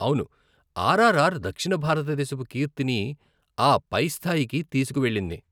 అవును, ఆర్ఆర్ఆర్ దక్షిణ భారతదేశపు కీర్తిని ఆ పై స్థాయికి తీసుకువెళ్ళింది.